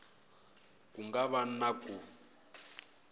ku nga va na ku